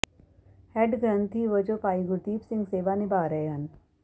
head ਗਰੰਥੀ ਵਜੋਂ ਭਾਈ ਗੁਰਦੀਪ ਸਿੰਘ ਸੇਵਾ ਨਿਭਾਅ ਰਹੇ ਹਨ